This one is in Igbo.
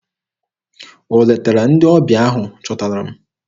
O letara ndị ọbịa ahụ chọtara m?